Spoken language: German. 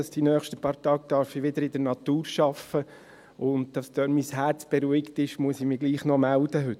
In den nächsten paar Tagen darf ich wieder in der Natur arbeiten, und damit dort mein Herz beruhigt ist, muss ich mich heute gleichwohl noch melden.